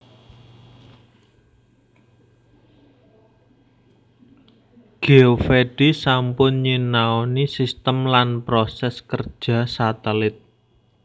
Geovedi sampun nyinaoni sistem lan proses kerja satelit